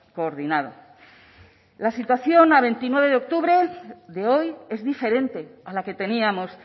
coordinado la situación a veintinueve de octubre de hoy es diferente a la que teníamos